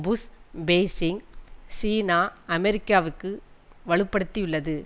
push Beijing China அமெரிக்காவிற்கு வலுப்படுத்தியுள்ளது